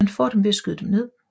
Man får dem ved at skyde dem ned